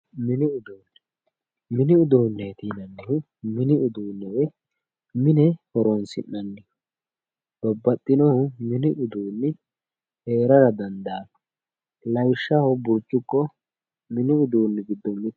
mini uduunne mini uduunneeti yininnnihu mini uduunne woy mine horonsi'nanniho babbaxinohu mini uduunni heerara dandaanno lawishshaho burcuqqo mini uduunnji giddo mittete.